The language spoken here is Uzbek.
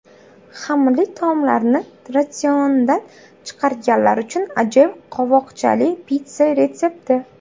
Xamirli taomlarni ratsiondan chiqarganlar uchun ajoyib qovoqchali pitssa retsepti!